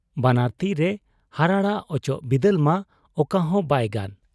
ᱵᱟᱱᱟᱨ ᱛᱤᱨᱮ ᱦᱟᱨᱟᱲᱟᱜ ᱚᱪᱚᱜ ᱵᱤᱫᱟᱹᱞ ᱢᱟ ᱚᱠᱟᱦᱚᱸ ᱵᱟᱭ ᱜᱟᱱ ᱾